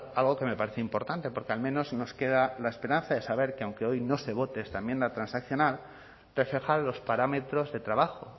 algo que me parece importante porque al menos nos queda la esperanza de saber que aunque hoy no se vote esta enmienda transaccional reflejan los parámetros de trabajo